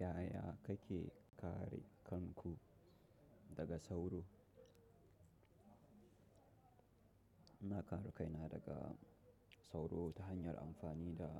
Yaya kake kare kanku daga sauro? Ina kare kaina daga sauro ta hanyar amfani da